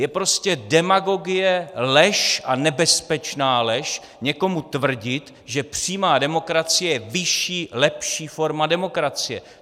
Je prostě demagogie, lež - a nebezpečná lež - někomu tvrdit, že přímá demokracie je vyšší, lepší forma demokracie.